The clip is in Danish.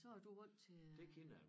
Så er du vant til at